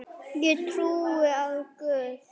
Ég trúi á Guð!